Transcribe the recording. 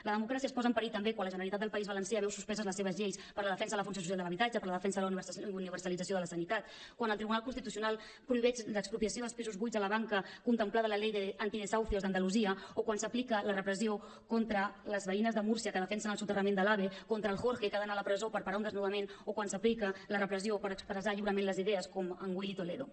la democràcia es posa en perill també quan la generalitat del país valencià veu suspeses les seves lleis per a la defensa de la funció social de l’habitatge per a la defensa de la universalització de la sanitat quan el tribunal constitucional prohibeix l’expropiació dels pisos buits a la banca contemplada en la ley de antidesahucios d’andalusia o quan s’aplica la repressió contra les veïnes de múrcia que defensen el soterrament de l’ave contra el jorge que ha d’anar a la presó per parar un desnonament o quan s’aplica la repressió per expressar lliurement les idees com en willy toledo